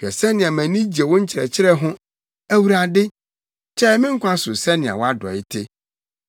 Hwɛ sɛnea mʼani gye wo nkyerɛkyerɛ ho; Awurade, kyɛe me nkwa so sɛnea wʼadɔe te.